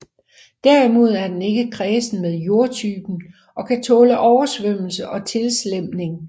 Derimod er den ikke kræsen med jordtypen og kan tåle oversvømmelse og tilslemning